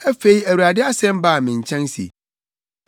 Afei Awurade asɛm baa me nkyɛn se: